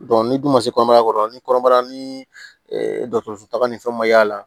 ni dun ma se kɔnɔbara kɔrɔ ni kɔnɔbara ni dɔgɔtɔrɔso taga ni fɛnw ma y'a la